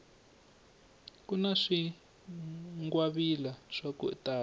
kuna swingwavila swaku tala